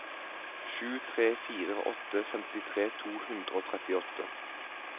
sju tre fire åtte femtitre to hundre og trettiåtte